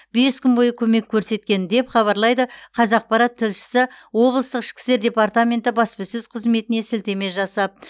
бес күн бойы көмек көрсеткен деп хабарлайды қазақпарат тілшісі облыстық ішкі істер департаменті баспасөз қызметіне сілтеме жасап